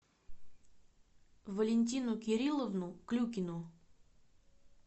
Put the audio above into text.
валентину кирилловну клюкину